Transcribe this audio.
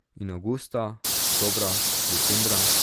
In avgusta, oktobra, decembra ...